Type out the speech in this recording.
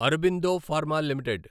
Aurobindo Pharma limited